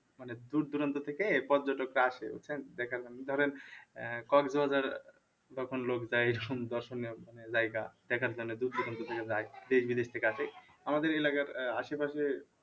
মানে দূর দূরান্ত থেকে পর্যটকরা আসে বুঝছেন দেখার জন্যে ধরেন আহ যখন লোক যাই মানে জায়গা দেখার জন্যে দূর দূরান্ত থেকে যাই দেশ বিদেশ থেকে আসে আমাদের এলাকার আহ আশেপাশে